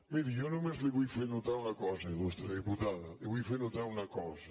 miri jo només li vull fer notar una cosa iltada li vull fer notar una cosa